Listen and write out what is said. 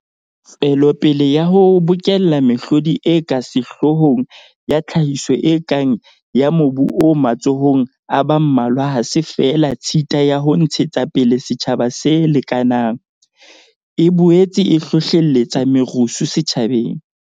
Tswelopele ya ho bokella mehlodi e ka sehloohong ya tlhahiso e kang ya mobu o matsohong a ba mmalwa ha se feela tshita ya ho ntshe tsapele setjhaba se lekanang, e boetse e hlohlelletsa merusu setjhabeng.